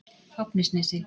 Fáfnisnesi